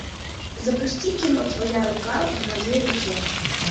запусти кино твоя рука в моей руке